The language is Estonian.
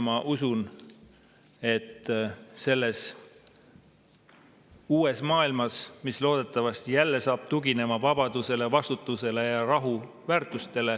Ma usun, et selles uues maailmas, mis loodetavasti jälle hakkab tuginema vabadusele, vastutusele ja rahu väärtustele …